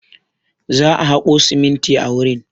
Za a haƙo siminti a wurin.